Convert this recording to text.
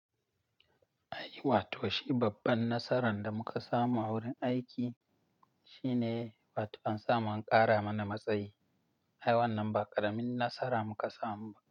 Ai wato shi babban nasaran da muka samu a wurin aiki shine wato an samu an ƙara mana matsayi. Ai wannan ba ƙaramin nasara muka samu ba.